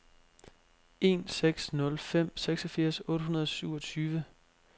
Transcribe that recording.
en seks nul fem seksogfirs otte hundrede og syvogtyve